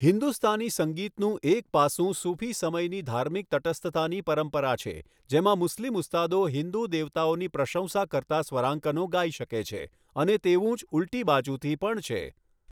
હિન્દુસ્તાની સંગીતનું એક પાસું સુફી સમયની ધાર્મિક તટસ્થતાની પરંપરા છે, જેમાં મુસ્લિમ ઉસ્તાદો હિન્દુ દેવતાઓની પ્રશંસા કરતા સ્વરાંકનો ગાઈ શકે છે અને તેવું જ ઉલટી બાજુથી પણ છે.